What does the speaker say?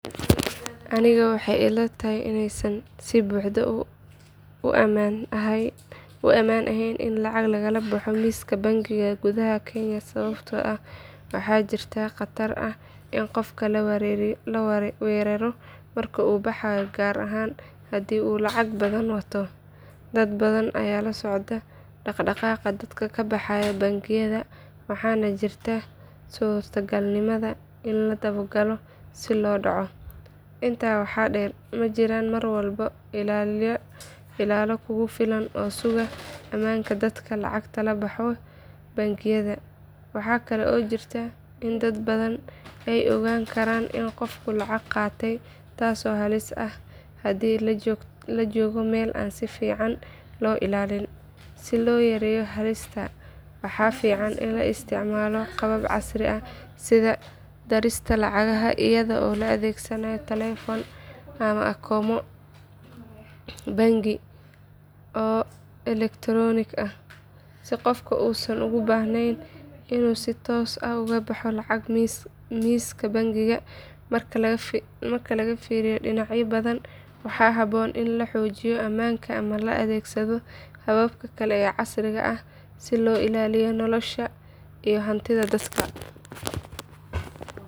Aniga waxay ila tahay inaysan si buuxda u ammaan ahayn in lacag lagala baxo miiska bangiga gudaha kenya sababtoo ah waxaa jirta khatar ah in qofka la weeraro marka uu baxayo gaar ahaan haddii uu lacag badan wato. Dad badan ayaa la socdo dhaqaaqa dadka ka baxaya bangiyada waxaana jirta suurtagalnimada in la daba galo si loo dhaco. Intaa waxaa dheer ma jiraan mar walba ilaalo kugu filan oo suga ammaanka dadka lacagta ka baxaya bangiyada. Waxa kale oo jirta in dad badan ay ogaan karaan in qofku lacag qaatay taasoo halis ah haddii la joogo meel aan si fiican loo ilaalin. Si loo yareeyo halistaas waxaa fiican in la isticmaalo qaabab casri ah sida dirista lacagaha iyadoo la adeegsanayo taleefan ama akoonno bangi oo elektaroonik ah si qofku uusan ugu baahnayn inuu si toos ah uga baxo lacag miiska bangiga. Marka laga fiiriyo dhinacyo badan waxaa habboon in la xoojiyo ammaanka ama la adeegsado hababka kale ee casriga ah si loo ilaaliyo nolosha iyo hantida dadka.